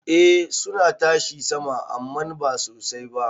Eh suna tashi sama amman ba sosai ba.